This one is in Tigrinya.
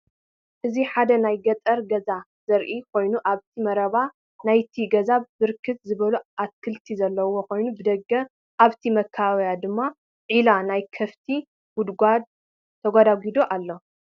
እዚ ሓደ ናይ ገጠር ገዛ ዘርኢ ኮይኑ አብቲ መረባ ናይቲ ገዛ ብርክት ዝበሉ አትክልቲ ዘለዉ ኮይኖም ብደገ አብቲ መካበብያ ድማ ዒባ ናይ ከፍቲ (ጉድጉዶ) ተጎድጒዱ አሎ፡፡